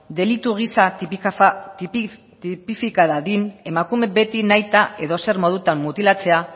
delitu gisa tipifika dadin emakume beti nahita edozer modutan mutilatzea